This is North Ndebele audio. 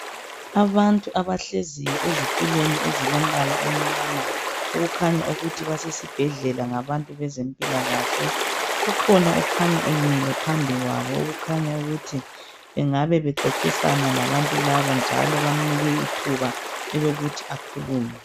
Abantu abahlezi ezitulweni ezilombala omnyama, okukhanya ukuthi besezibhedlela ngabantu bezempilakahle .Kukhona okhanya emile phambi kwabo okukhanya ukuthi engabe bexoxisana labantu laba njalo bamnike ithuba elokuthi akhulume.